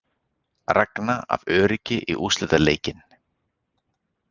Ragna af öryggi í úrslitaleikinn